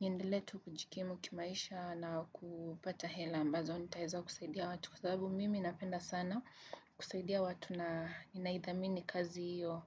niendiletu kujikimu kimaisha na kupata hela ambazo nitaeza kusaidia watu kwa sababu mimi napenda sana kusaidia watu na inaidhamini kazi hiyo.